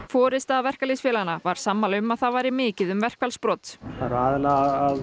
forysta verkalýðsfélaganna var sammála um að það væri mikið um verkfallsbrot það er aðallega að